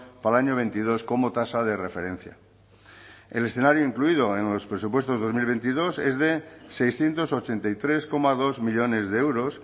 para el año veintidós como tasa de referencia el escenario incluido en los presupuestos dos mil veintidós es de seiscientos ochenta y tres coma dos millónes de euros